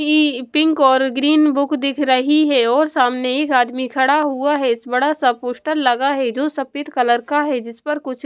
हीीी pink और green book दिख रही है और सामने एक आदमी खड़ा हुआ है स बड़ा सा पोस्टर लगा है जो सफेद कलर का है जिस पर कुछ --